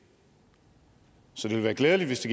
ville være glædeligt hvis